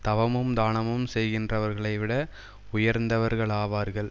தவமும் தானமும் செய்கின்றவர்களைவிட உயர்ந்தவர்களாவார்கள்